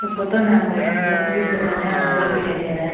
Photo में हमको एक लकड़ी से बनाया हुआ घर दिखाई दे रहा है।